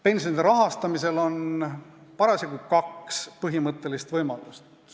Pensioni rahastamiseks on parasjagu kaks põhimõttelist võimalust.